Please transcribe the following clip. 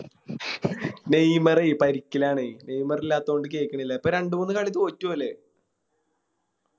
Neymar പരിക്കിലാണെ നെയ്മറില്ലാത്ത കൊണ്ട് കേറ്റണില്ല ഇപ്പൊ രണ്ട് മൂന്ന് കളി തോറ്റു ഓല്